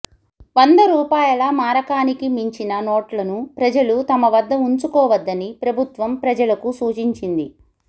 వంద రూపాయల మారకానికి మించిన నోట్లను ప్రజలు తమ వద్ద ఉంచుకోవద్దని ప్రభుత్వం ప్రజలకు సూచించింది